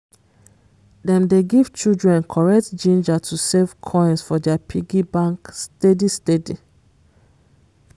dem dey give children correct ginger to save coins for their piggy bank steady steady